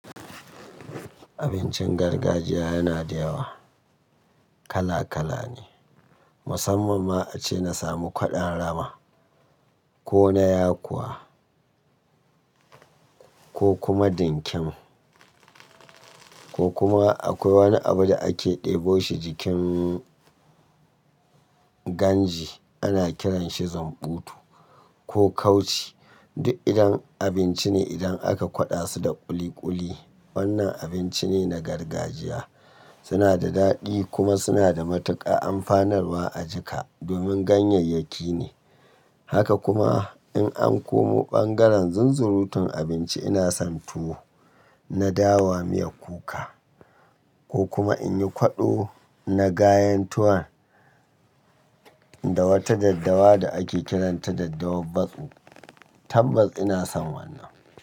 Abincin gargajiya yana da yawa, kala kala ne. Musamman ma ace na samu kwaɗon rama, ko na yakuwa, ko kuma dinkem, ko kuma akwai wani abu da ake ɗebo shi jikin ganji ana kiranshi zumbutu ko kauci. Duk idan abinci ne idan aka kwaɗa su da ƙuli ƙuli. Wannan abinci ne na gargajiya. Suna da daɗi kuma suna da matuƙa amfanar wa ajika domin ganyayyaki ne. Haka kuma in an komo ɓangaren zunzurutun abinci ina son tuwo na dawa miyar kuka. Ko kuma in yi kwaɗo na gayantuwan da wata daddawa da ake kiranta daddawan batso tambas ina son wannan.